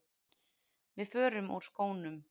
Við förum úr skónum.